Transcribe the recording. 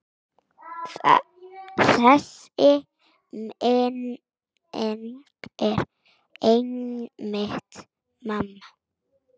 Þessi minning er einmitt mamma.